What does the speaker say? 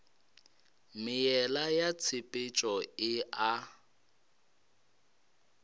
meela ya tshepetšo e a